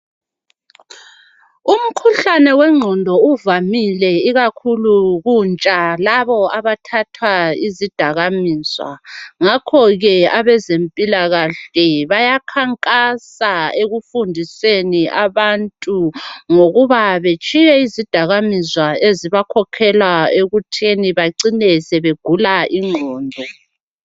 Umkhuhlane wengqondo uvamile ikakhulu kuntsha labo abathatha izidakamizwa ngakho ke abezempilakahle bayakhankasa ekufundiseni abantu ngokuba batshiye izidakamizwa ezibakhokhela ekuthini bacine sebegula ingqondo.